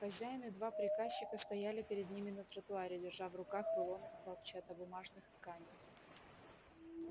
хозяин и два приказчика стояли перед ними на тротуаре держа в руках рулоны хлопчатобумажных тканей